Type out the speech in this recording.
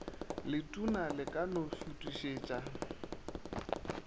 letona le ka no šuthišetša